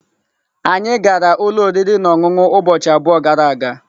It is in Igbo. Anyị gara ụlọ oriri na ọṅụṅụ ụbọchị abụọ gara aga.